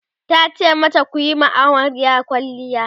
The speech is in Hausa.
tace mata "kuyi wa amaryar kwalliya!"